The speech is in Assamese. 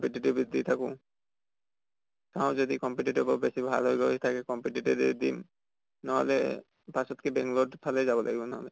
active দি থাকো। চাও যদি competitive ও বেছি ভাল হৈ গৈ থাকে competitive য়ে দিম। নহলে পাছত কে বেঙ্গালৰ ফালে যাব লাগিব ন।